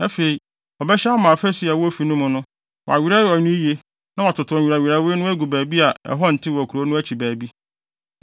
Afei, ɔbɛhyɛ ama afasu a ɛwɔ ofi no mu no, wɔawerɛwerɛw no yiye na wɔatow nwerɛwerɛwee no agu baabi a ɛhɔ ntew wɔ kurow no akyi baabi.